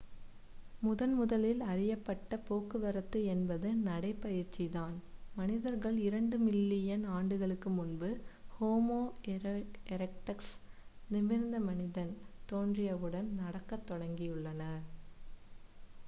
முதன்முதலில் அறியப்பட்ட போக்குவரத்து என்பது நடைபயிற்சிதான் மனிதர்கள் இரண்டு மில்லியன் ஆண்டுகளுக்கு முன்பு ஹோமோ எரெக்டஸ் நிமிர்ந்த மனிதன் தோன்றியவுடன் நடக்கத் தொடங்கியுள்ளனர்